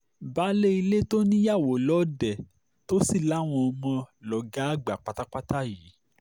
baálé ilé tó níyàwó lọ́ọ̀dẹ̀ tó sì láwọn ọmọ lọ̀gá àgbà pátápátá yìí